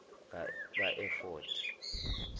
kaefodi